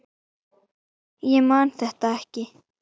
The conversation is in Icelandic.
Ég man þetta ekki.